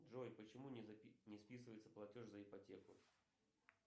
джой почему не списывается платеж за ипотеку